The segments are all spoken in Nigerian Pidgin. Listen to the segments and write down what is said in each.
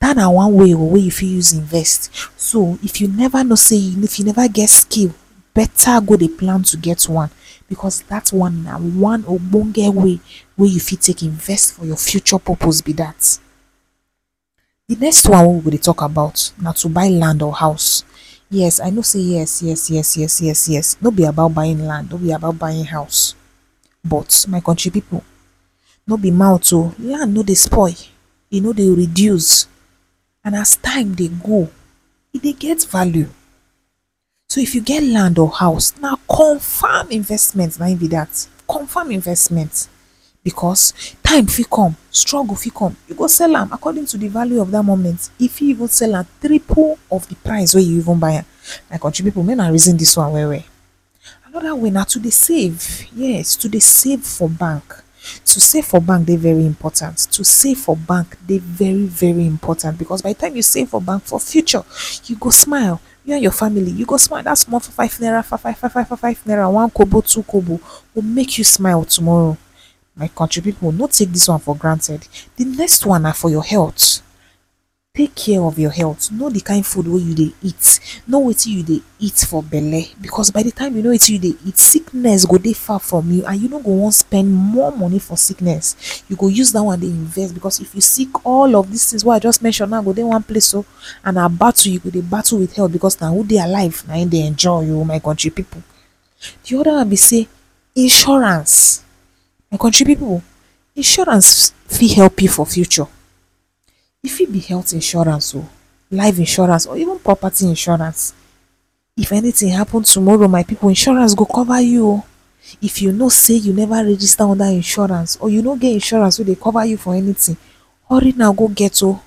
dat na one way oh way you fit use invest, so if you never know say you… if you never get skill, better go dey plan to get one because that one na one ogbongeh way, way you feet invest for your future purpose be dat. The next one way we go dey talk about na to buy land or house. Yes I know say… yes yes yes yes yes yes, no be about buying land buying house, but ma country people no be mouth oh! Land no dey spoil e no dey reduce, and as time dey go e dey get value. So if you get land or house na confirm investment na im be that. Confirm investment!!! Because time feet come struggle fit come you go sell am according to the value of that moment, you feet even sell am triple of the price way you even buy am. My country people may una reason this one well well. Another way na to dey save, yea! To dey save for bank. To save for bank dey very important to, to save for bank dey very very important because by de time you save for bank for future you go smile, you and your family you go smile, dat small two five five naira five five five naira, one kobe two kobo go make you smile tomorrow. My country people no take dis one for granted. De next one na for your health, take care of your health no dey kind food way you dey eat, know watin you dey eat for belle, because by de time you know watin you dey eat, sickness go dey far from you and you no wan spend more money for sickness, you go use that one dey invest bescause if you sick all of these things way I just mention now go dey one place oh and na battle you go dey battle with health, because na who dey alive na im dey enjoy oh my country people. The other one be say “insurance!” my country people insurance fit help you for future. E fit be health insurance oh, life insurance or even property insurance, if anything happen tomorrow my people, insurance go cover you oh. If you know say you never register under insurance or you no get insurance way dey cover you for anything. Hurry now go get oh!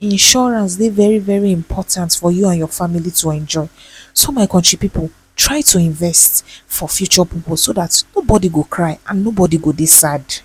Insurance dey very very important for you and your family to enjoy. So my country people try to invest for future purpose, so dat nobody go cry and nobody go dey sad.